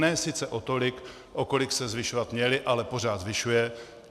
Ne sice o tolik, o kolik se zvyšovat měly, ale pořád zvyšuje.